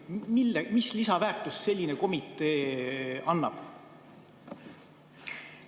Mis lisaväärtust selline komitee annab?